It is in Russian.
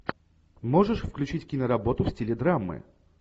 можешь включить киноработу в стиле драмы